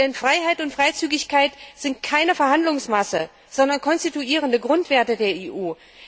Denn Freiheit und Freizügigkeit sind keine Verhandlungsmasse, sondern konstituierende Grundwerte der EU.